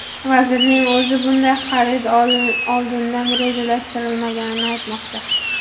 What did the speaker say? Vazirning o‘zi bunday xarid oldindan rejalashtirilmaganini aytmoqda.